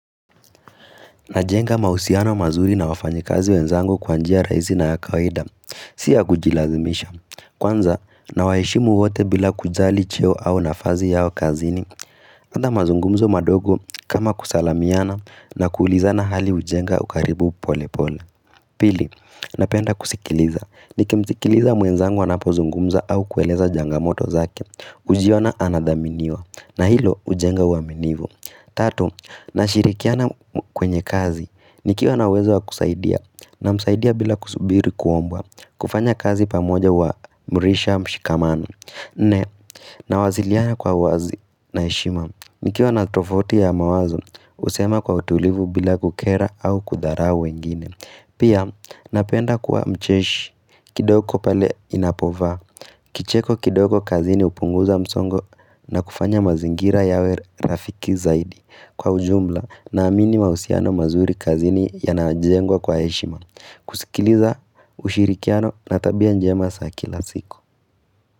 Najenga mausiano mazuri na wafanyekazi wenzangu kwa njia raisi na ya kaweda. Si ya kujilazimisha. Kwanza, nawaheshimu wote bila kujali cheo au nafazi yao kazini. Anda mazungumzo madogo kama kusalamiana na kuulizana hali ujenga ukaribu pole pole. Pili, napenda kusikiliza. Nikimsikiliza mwenzangu anapozungumza au kueleza jangamoto zake. Ujiona anadhaminiwa. Na hilo ujenga uaminivu. Tatu, na shirikiana kwenye kazi, nikiwa na uwezo wa kusaidia, na msaidia bila kusubiri kuombwa, kufanya kazi pamoja wa mrisha mshikamana. Nne, na waziliana kwa wazi na heshima, nikiwa na tofauti ya mawazo, usema kwa utulivu bila kukera au kudharau wengine. Pia, napenda kuwa mcheshi, kidoko pale inapova, kicheko kidogo kazini upunguza msongo na kufanya mazingira yawe rafiki zaidi. Kwa ujumla na amini mausiano mazuri kazini ya najengwa kwa eshima kusikiliza ushirikiano na tabia njema saa kila siku.